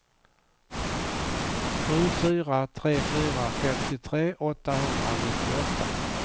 sju fyra tre fyra femtiotre åttahundranittioåtta